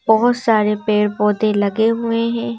बहुत सारे पेड़-पौधे लगे हुए हैं।